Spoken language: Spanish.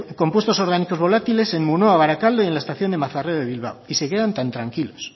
compuestos orgánicos volátiles en munoa barakaldo y en la estación de mazarredo bilbao y se quedan tan tranquilos